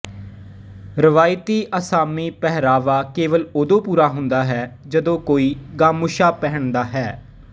ਰਵਾਇਤੀ ਅਸਾਮੀ ਪਹਿਰਾਵਾ ਕੇਵਲ ਉਦੋਂ ਪੂਰਾ ਹੁੰਦਾ ਹੈ ਜਦੋਂ ਕੋਈ ਗਾਮੁਛਾ ਪਹਿਨਦਾ ਹੈ